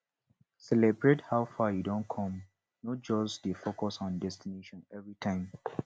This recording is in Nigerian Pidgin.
celibrate how far yu don com no just dey focus on destination evritime